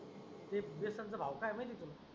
ते बेसन च भाव काय आहे माहिती का?